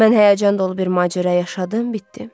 Mən həyəcan dolu bir macəra yaşadım, bitdi.